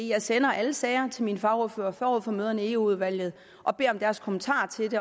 jeg sender alle sager til mine fagordførere forud for møderne i eu udvalget og beder om deres kommentarer til